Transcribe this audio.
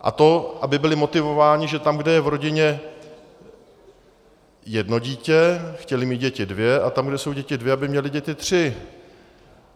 A to, aby byli motivováni, že tam, kde je v rodině jedno dítě, chtěli mít děti dvě a tam, kde jsou děti dvě, aby měli děti tři.